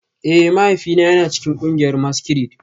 Eh, mahaifina yana cikin kungiyar maskirade